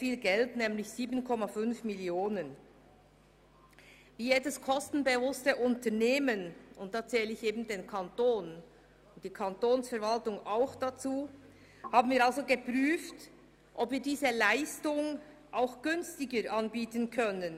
Wie jedes kostenbewusste Unternehmen – und dazu zähle ich auch die Kantonsverwaltung – haben wir geprüft, ob wir diese Leistung günstiger anbieten können.